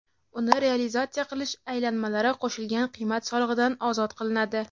uni realizatsiya qilish aylanmalari qo‘shilgan qiymat solig‘idan ozod qilinadi.